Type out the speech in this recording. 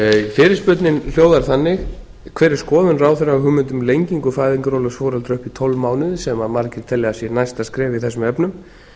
fyrirspurnin hljóðar þannig hver er skoðun ráðherra á hugmyndum um lengingu fæðingarorlofs foreldra upp tólf mánuði sem margir telja að sé næsta skref í þessum efnum